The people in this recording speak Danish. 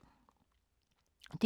DR K